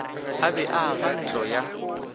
a be a agantlo ya